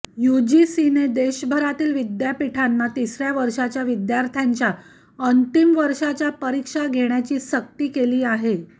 यूजीसीने देशभरातील विद्यापीठांना तिसर्या वर्षाच्या विद्यार्थ्यांच्या अंतिम वर्षाच्या परीक्षा घेण्याची सक्ती केली आहे